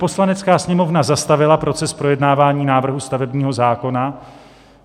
Poslanecká sněmovna zastavila proces projednávání návrhu stavebního zákona.